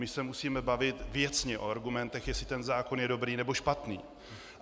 My se musíme bavit věcně o argumentech, jestli ten zákon je dobrý, nebo špatný.